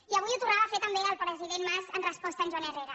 i avui ho tornava a fer també el president mas en resposta a en joan herrera